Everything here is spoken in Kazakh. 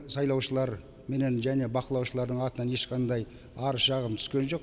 сайлаушылар менен және бақылаушылардың атынан ешқандай арыз шағым түскен жоқ